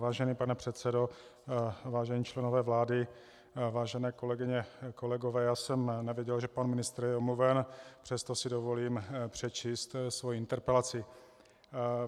Vážený pane předsedo, vážení členové vlády, vážené kolegyně, kolegové, já jsem nevěděl, že pan ministr je omluven, přesto si dovolím přečíst svoji interpelaci.